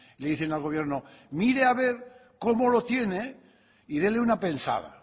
le dicen al gobierno mire haber cómo lo tiene y dele una pensada